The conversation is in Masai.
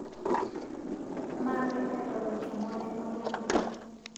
Maape airoroki mwalimoi lang'